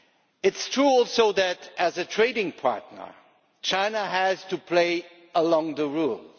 It is true too that, as a trading partner, China has to play by the rules.